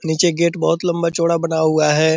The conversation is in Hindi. नीचे गेट बहुत लम्बा-चौड़ा बना हुआ है ।